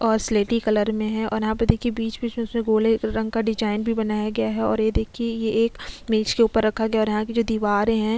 और स्लेटी कलर में है और यहाँ पे देखिये बिच- बिच में गोले रंग का डिज़ाइन भी बनाया गया है और ये देखिये ये एक मेज के ऊपर रखा हुआ है और यहाँ की जो दीवारें हैं।